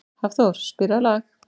Hafþór, spilaðu lag.